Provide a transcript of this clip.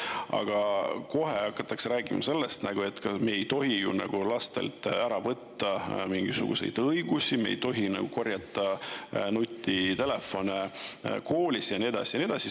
Aga kohe hakatakse rääkima sellest, et me ei tohi lastelt ära võtta mingisuguseid õigusi, me ei tohi korjata nutitelefone koolis kokku ja nii edasi ja nii edasi.